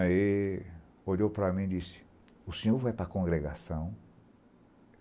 Aí olhou para mim e disse, o senhor vai para a congregação?